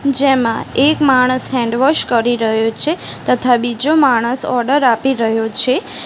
જેમાં એક માણસ હેન્ડવોશ કરી રહ્યો છે તથા બીજો માણસ ઓર્ડર આપી રહ્યો છે.